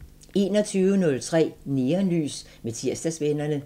21:03: Neonlys med Tirsdagsvennerne